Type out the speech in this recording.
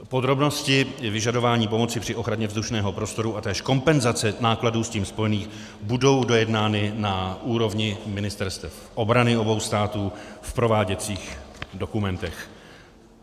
Podrobnosti vyžadování pomoci při ochraně vzdušného prostoru a též kompenzace nákladů s tím spojených budou dojednány na úrovni ministerstev obrany obou států v prováděcích dokumentech.